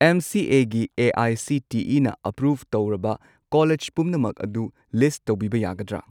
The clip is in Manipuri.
ꯑꯦꯝ ꯁꯤ ꯑꯦ ꯒꯤ ꯑꯦ.ꯑꯥꯏ.ꯁꯤ.ꯇꯤ.ꯏ.ꯅ ꯑꯦꯄ꯭ꯔꯨꯚ ꯇꯧꯔꯕ ꯀꯣꯂꯦꯖ ꯄꯨꯝꯅꯃꯛ ꯑꯗꯨ ꯂꯤꯁꯠ ꯇꯧꯕꯤꯕ ꯌꯥꯒꯗ꯭ꯔꯥ?